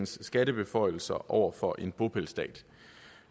skattebeføjelser over for en bopælsstat